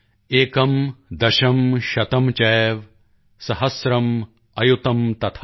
ਏਕੰ ਦਸ਼ੰ ਸ਼ਤੰ ਚੈਵ ਸਹਸ੍ਰਮ੍ ਅਯੁਤੰ ਤਥਾ